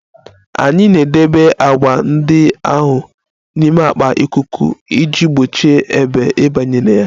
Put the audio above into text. Anyị na-edebe agwa ndị ahụ n'ime akpa ikuku iji gbochie ebe ịbanye na ya